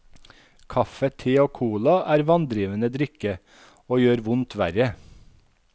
Kaffe, te og cola er vanndrivende drikke, og gjør vondt verre.